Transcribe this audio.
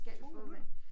2 minutter